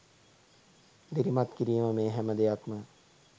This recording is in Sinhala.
දිරිමත් කිරීම මේ හැම දෙයක්ම